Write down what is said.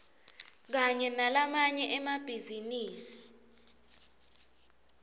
kanye nalamanye emabhizinisi